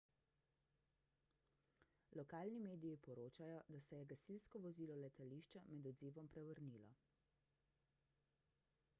lokalni mediji poročajo da se je gasilsko vozilo letališča med odzivom prevrnilo